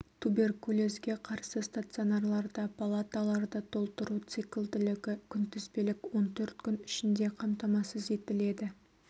туберкулезге қарсы стационарларда палаталарды толтыру циклділігі күнтізбелік он төрт күн ішінде қамтамасыз етіледі